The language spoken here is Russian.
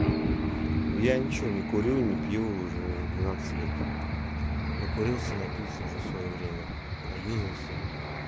я ничего не курю и не пью уже двенадцать лет накурился напился уже своё время наюзался